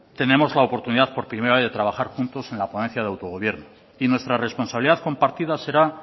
tenemos la oportunidad por primera vez de trabajar juntos en la ponencia de autogobierno y nuestra responsabilidad compartida será